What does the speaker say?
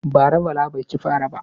Bara Bala bai cin fara ba.